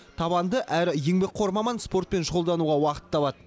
табанды әрі еңбекқор маман спортпен шұғылдануға уақыт табады